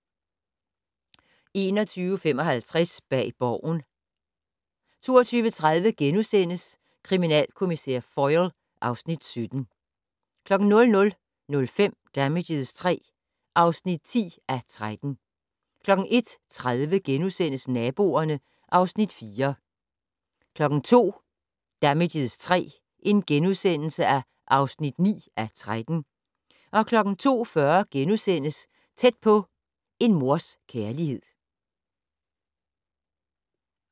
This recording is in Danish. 21:55: Bag Borgen 22:30: Kriminalkommissær Foyle (Afs. 17)* 00:05: Damages III (10:13) 01:30: Naboerne (Afs. 4)* 02:00: Damages III (9:13)* 02:40: Tæt på: En mors kærlighed *